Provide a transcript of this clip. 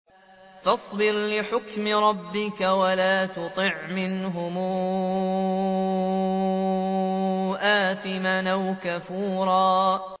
فَاصْبِرْ لِحُكْمِ رَبِّكَ وَلَا تُطِعْ مِنْهُمْ آثِمًا أَوْ كَفُورًا